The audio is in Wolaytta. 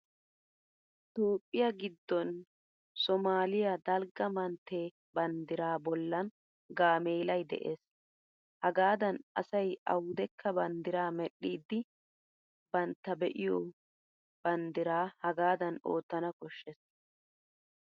Toophphiya giddon somaaliya dalgga mantte banddiraa bollan gaameelay de'es. Hagaadan asay awudekka banddiraa medhdhiiddi bantta be'iyo banddiraa hagaadan oottana koshshes.